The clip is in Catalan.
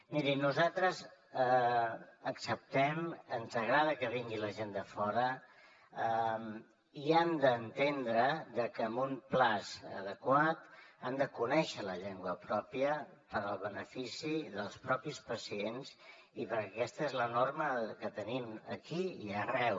miri nosaltres acceptem ens agrada que vingui la gent de fora i han d’entendre que en un termini adequat han de conèixer la llengua pròpia per al benefici dels propis pacients i perquè aquesta és la norma que tenim aquí i arreu